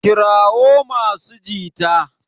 kirawo masu jita!